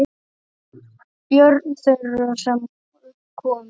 Börn þeirra, sem upp komust